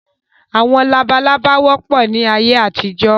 Àwọn labalábá wọ́pọ̀ ni ayé àtijọ́